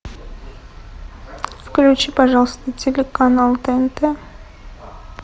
включи пожалуйста телеканал тнт